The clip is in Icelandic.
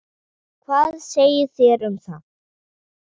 Hvað segið þér um það?